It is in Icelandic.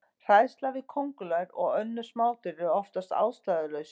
Hræðsla við köngulær og önnur smádýr er oftast ástæðulaus.